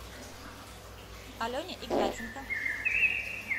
алене игнатенко